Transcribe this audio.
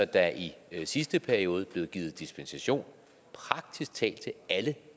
der i sidste periode blev givet dispensation praktisk talt til alle